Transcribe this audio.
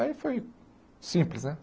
Aí foi simples, né?